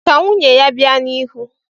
Ka nwunye ya bịa n'ihu.